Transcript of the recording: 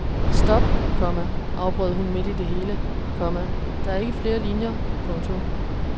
Stop, komma afbrød hun midt i det hele, komma der er ikke flere linier. punktum